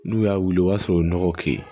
N'u y'a wuli o b'a sɔrɔ u ye nɔgɔ k'i ye